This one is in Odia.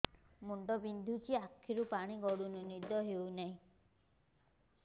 ମୁଣ୍ଡ ବିନ୍ଧୁଛି ଆଖିରୁ ପାଣି ଗଡୁଛି ନିଦ ହେଉନାହିଁ